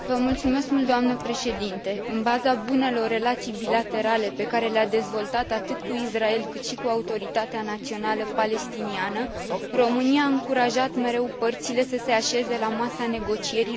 În baza bunelor relații bilaterale pe care le a dezvoltat atât cu Israel, cât și cu Autoritatea Națională Palestiniană, România a încurajat mereu părțile să se așeze la masa negocierilor fără precondiții.